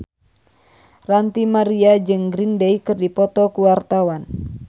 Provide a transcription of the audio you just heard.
Ranty Maria jeung Green Day keur dipoto ku wartawan